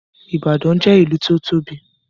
Ìbàdàn jẹ́ ìlú tí ó tóbi